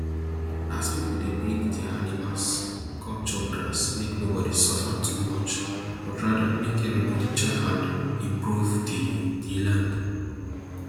as pipo dey bring dia animals come chop grass make nobody suffer too much but rather make everybody join hand improve di di land